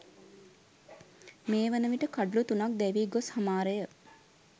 මේ වනවිට කඩුලු තුනක් දැවී ගොස් හමාරය